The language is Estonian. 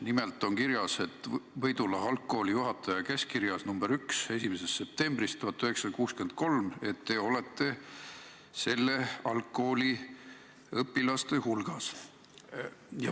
Nimelt on Võidula algkooli juhataja 1. septembri 1963. aasta käskkirjas nr 1 kirjas, et teie olete selle algkooli õpilaste hulgas.